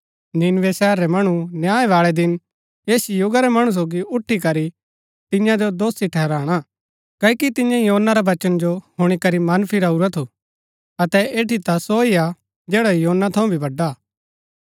नीनवे शहर रै मणु न्याय बाळै दिन ऐस युगा रै मणु सोगी उठी करी तियां जो दोषी ठहराणा क्ओकि तियें योना रा वचना जो हुणी करी मन फिराऊरा थु अतै ऐठी ता सो हा जैडा योना थऊँ भी वड़ा हा